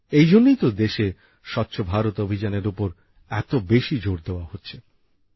এই জন্যই তো দেশে স্বচ্ছ ভারত অভিযানের উপর এত বেশি জোর দেওয়া হচ্ছে